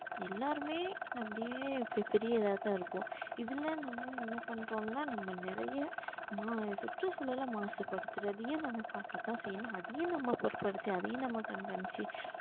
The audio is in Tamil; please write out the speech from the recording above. எல்லாருமே அப்படியே பெரிய இதாதான் இருப்போம் இதில நம்ம என்ன பண்றோம்ன்னா நம்ம நிறைய மா~ சுற்றுச்சூழல மாசுபடுத்துறதையும் நாம பாக்கத்தான் செய்யணும் அதையும் நம்ம பொருட்படுத்தி அதையும் நம்ம கண்காணிச்சு